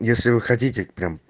если вы хотите прям